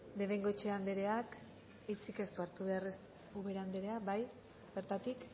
de bengoechea andereak hitzik ez du hartu behar ubera anderea bai bertatik